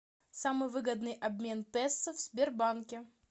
самый выгодный обмен песо в сбербанке